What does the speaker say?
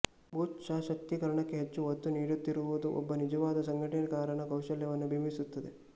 booth ಸಶಕ್ತಿಕರಣಕ್ಕೆ ಹೆಚ್ಚು ಒತ್ತು ನೀಡುತ್ತಿರುವುದು ಒಬ್ಬ ನಿಜವಾದ ಸಂಘಟನಾಕಾರನ ಕೌಶಲ್ಯತೆಯನ್ನು ಬಿಂಬಿಸುತ್ತದೆ